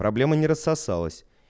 проблема не рассосалась